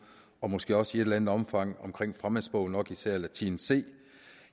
og måske også i et eller andet omfang fremmedsprog nok især latin c